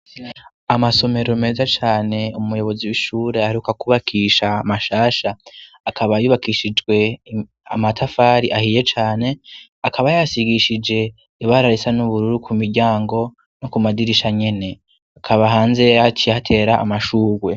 Amasomero meza cane ,umuyobozi w'ishure aheruka kubakisha mashasha, akaba yubakishijwe amatafari ahiye cane, akaba yasigishije ibara risa n'ubururu, ku miryango no ku madirisha nyene ,akaba hanze yaciye ahatera amashurwe.